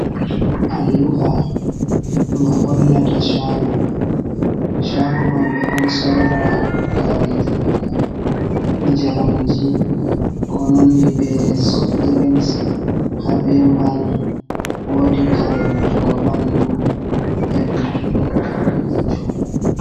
Alluha nga hollata cago, chago man ɓe ɗon sora kareji bana jaramji ko nandi be soft drins, ha be mbal, wodi kare wujugo ɓanɗu e luttu ɗum kareji choggu.